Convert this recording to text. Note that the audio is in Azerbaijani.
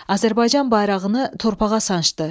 Azərbaycan bayrağını torpağa sancdı.